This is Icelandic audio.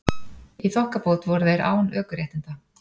Í þokkabót voru þeir án ökuréttinda